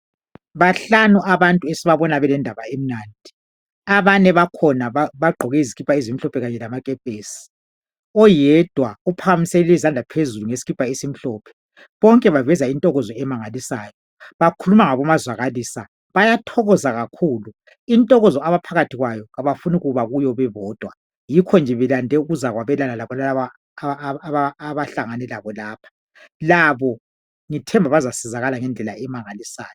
bahlanu abantu esibabona belendaba emnandi abane bakhona bagqoke izikipa ezimhlophe kanye lamakepesi oyedwa uphakamisele izandla phezulu ngesikipa esimhlophe bonke baveza intokozo emangalisayo balhuluma ngabo mazwakalisa bayathokoza kakhul intokozo abaphakathi kwayo abafuni kuba kuyo bebodwa yikho nje belande ukuzokwelabela lalaba abahlangane labo lapha labo ngithemba bazasizakala ngendlela emangalisayo